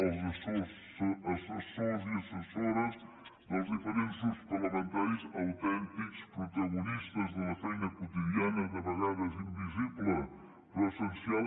als assessors i assessores dels diferents grups parlamentaris autèntics protagonistes de la feina quotidiana de vegades invisible però essencial